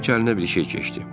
Bəlkə əlinə bir şey keçdi.